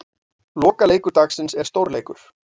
Lokaleikur dagsins er stórleikur.